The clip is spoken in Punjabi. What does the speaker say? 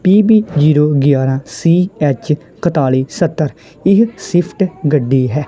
ਪੀ_ਬੀ ਜ਼ੀਰੋ ਗਿਆਰਹ ਸੀ_ਐਚ ਇੱਕਤਾਲੀ ਸੱਤਰ ਇਹ ਸਵਿਫਟ ਗੱਡੀ ਹੈ।